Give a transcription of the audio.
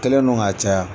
Kɛlen don ka caya